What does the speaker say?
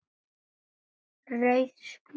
Rauð spjöld